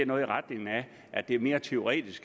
noget i retning af at det mere i teorien